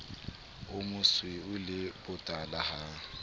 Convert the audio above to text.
o mosweu le botala ha